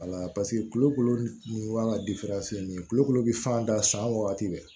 kolokolo nin an ka nin ye kulokolo bi fan da san wagati bɛɛ